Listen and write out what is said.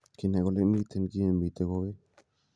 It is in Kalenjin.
"kinai kolen miten kit nemiten kowek.